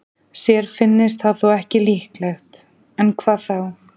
Sér finnist það þó ekki líklegt, en hvað þá?